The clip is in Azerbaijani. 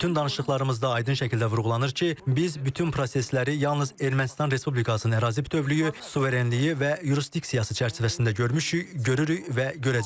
Bütün danışıqlarımızda aydın şəkildə vurğulanır ki, biz bütün prosesləri yalnız Ermənistan Respublikasının ərazi bütövlüyü, suverenliyi və yurisdiksiyası çərçivəsində görmüşük, görürük və görəcəyik.